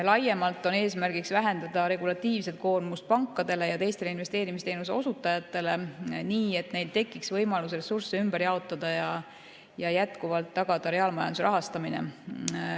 Laiemalt on eesmärk vähendada regulatiivset koormust pankadele ja teistele investeerimisteenuse osutajatele, nii et neil tekiks võimalus ressursse ümber jaotada ja jätkuvalt tagada reaalmajanduse rahastamine.